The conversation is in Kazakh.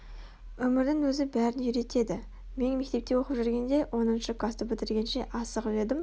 Өмірдің өзі бәрін үйретеді мен мектепте оқып жүргенде оныншы класты бітіргенше асығып едім